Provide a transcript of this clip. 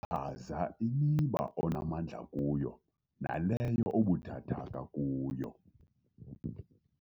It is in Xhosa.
Chaza imiba onamandla kuyo naleyo obuthathaka kuyo